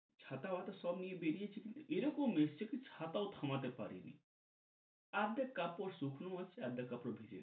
ছাতা মাতা সব নিয়া বেরিয়েছি কিন্তু এরকম এসছে কি ছাতাও থামাতে পারেনি, অর্ধেক কাপড় শুকনো আছে অর্ধেক কাপড় ভিজে।